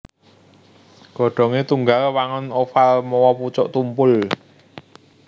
Godhongé tunggal wangun oval mawa pucuk tumpul